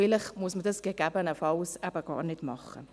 Vielleicht muss man dies gegebenenfalls eben gar nicht machen.